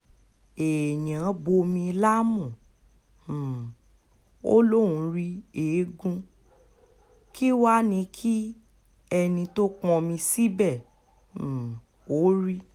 èèyàn bomi lámú um ó lóun rí eegun kí wàá ní kí ẹni tó pọnmi síbẹ̀ um ó rí